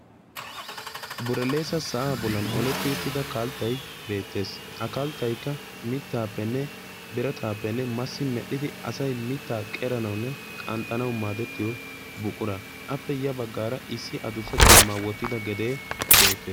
buraleesa sa7aa bollan oletti uttida kalttai beettees. ha kalttaikka mittaappenne birataappenne massi medhdhidi asai mittaa qeranaunne qanxxanawu maadettiyo buqura appe ya baggaara issi adussa caammaa wottida gedee beettes.